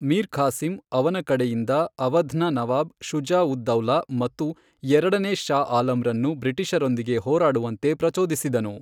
ಮೀರ್ ಖಾಸಿಂ, ಅವನ ಕಡೆಯಿಂದ, ಅವಧ್ನ ನವಾಬ್ ಶುಜಾ ಉದ್ ದೌಲಾ ಮತ್ತು ಎರಡನೇ ಷಾ ಆಲಂರನ್ನು ಬ್ರಿಟಿಷರೊಡನೆ ಹೋರಾಡುವಂತೆ ಪ್ರಚೋದಿಸಿದನು.